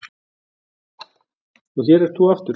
Og hér ert þú aftur.